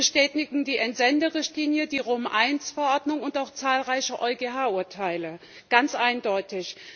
Das bestätigen die Entsenderichtlinie, die Rom I Verordnung und auch zahlreiche EuGH Urteile ganz eindeutig.